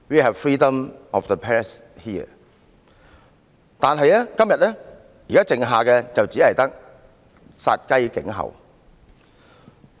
可是，現時我們所剩下的就只有殺雞儆猴。